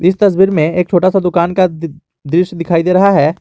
इस तस्वीर में एक छोटा सा दुकान का दृश्य दिखाई दे रहा है।